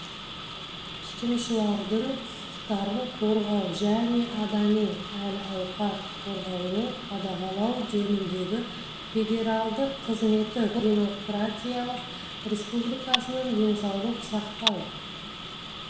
тұтынушылардың құқықтарын қорғау және адами әл-ауқат қорғауды қадағалау жөніндегі федералдық қызметі конго демократиялық республикасының денсаулық сақтау